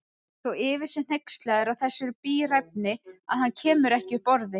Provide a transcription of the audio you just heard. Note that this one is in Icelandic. Svo yfir sig hneykslaður á þessari bíræfni að hann kemur ekki upp orði.